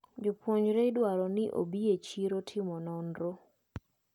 Jopuonjre idwaro ni obi e chiro timo nonro.